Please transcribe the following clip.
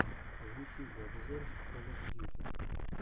в ютьюбе обзор кол оф дьюти